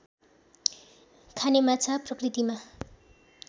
खाने माछा प्रकृतिमा